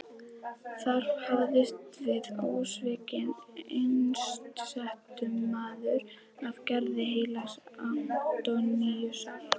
Þar hefst við ósvikinn einsetumaður af gerð heilags Antóníusar.